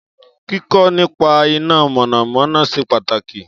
Kíkọ́ nípa iná mọ̀nàmọ́ná ṣe pàtàkì